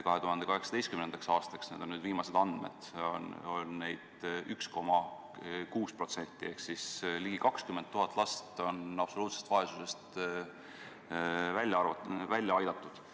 2018. aastaks – need on nüüd viimased andmed – oli neid 1,6% ehk ligi 20 000 last on absoluutsest vaesusest välja aidatud.